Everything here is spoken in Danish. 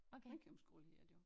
Ringkøbing skole hedder det jo